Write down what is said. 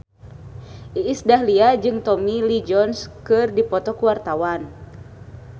Iis Dahlia jeung Tommy Lee Jones keur dipoto ku wartawan